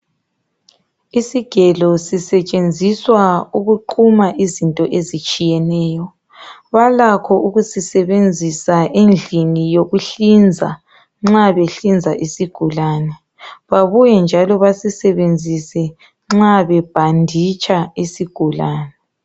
Isigelo sisetshenziswa ukuquma izinto ezitshiyeneyo. Balakho ukusisebenzisa endlini yokuhlinza nxa behlinza isigulane. Babuye njalo basisebenzise nxa bebhanditsha isigulane.